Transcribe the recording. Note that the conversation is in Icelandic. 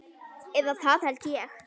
Eða það held ég.